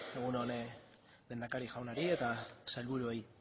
egun on lehendakari jaunari eta sailburuei